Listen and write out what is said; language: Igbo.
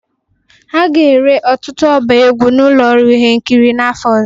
A ga-ere ọtụtụ ọba egwu na ụlọ ihe nkiri n'afọ ọzọ